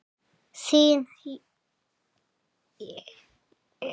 Þín, Jóna Rut.